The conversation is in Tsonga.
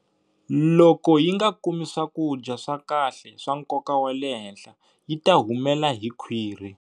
Loko yi nga kumi swakudya swa kahle swa nkoka wa le henhla yi ta humela hi khwiri.